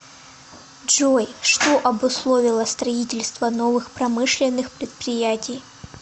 джой что обусловило строительство новых промышленных предприятий